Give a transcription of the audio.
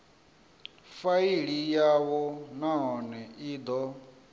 faili yavho nahone i do